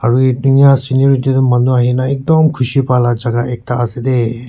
aru duniya senat maati manu ahe kina ekdam khuli pai laga jagah ekta ase de.